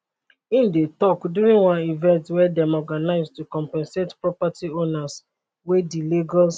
im dey tok during one event dem organise to compensate property owners wey di lagos